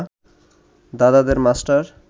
দাদাদের মাষ্টার